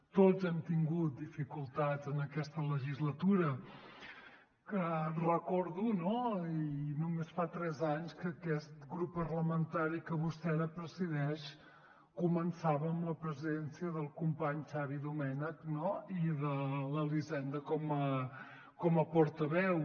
tots hem tingut dificultats en aquesta legislatura que recordo no i només fa tres anys que aquest grup parlamentari que vostè ara presideix començava amb la presidència del company xavi domènech i de l’elisenda com a portaveu